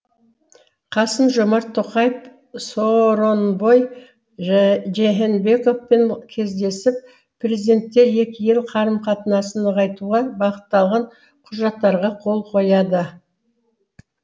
қасым жомарт тоқаев сооронбай жээнбековпен кездесіп президенттер екі ел қарым қатынасын нығайтуға бағытталған құжаттарға қол қояды